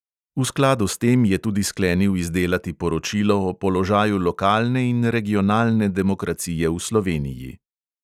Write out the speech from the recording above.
V skladu s tem je tudi sklenil izdelati poročilo o položaju lokalne in regionalne demokracije v sloveniji.